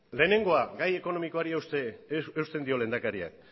lehenengoa gai ekonomikoari eusten dio lehendakariak